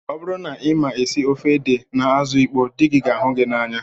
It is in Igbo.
Ọ bụrụ na ị ma esi ofe ede na azụ ịkpọ dị gị ga ahụ gị n'anya